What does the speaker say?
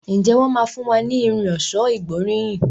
Njé wón má fún wá ní Irin ọ̀ṣọ́ ìgbóríyìn?